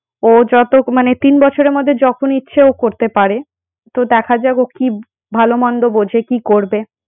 ও যত মানে তিন বছরের মধ্যে যখন ইচ্ছে ও করতে পারে। তো দেখা যাক ও কি ভালো মন্দ বোঝে কি করবে।